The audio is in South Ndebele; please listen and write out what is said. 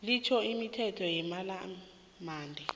litjho imithetho yepalamende